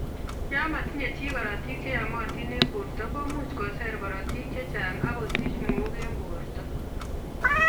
Yon motinye chi kororotik che yomotin en borto komuch koser korotik chechang ak kosich mook en borto